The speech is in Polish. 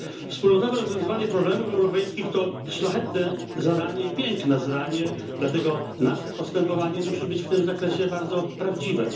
Wspólnotowe rozwiązywanie problemów europejskich to szlachetne i piękne zadanie, dlatego nasze postępowanie musi być w tym zakresie bardzo prawdziwe.